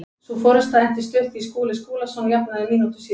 Sú forusta entist stutt því Skúli Skúlason jafnaði mínútu síðar.